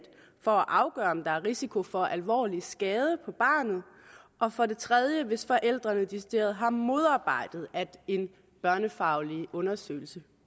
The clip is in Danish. for at afgøre om der er risiko for alvorlig skade på barnet og for det tredje hvis forældrene decideret har modarbejdet at en børnefaglig undersøgelse